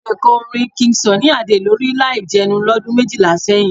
Mo lè kọ orin King Sunny Adé lórí láì jẹnu lọ́dún méjìlá sẹ́yìn.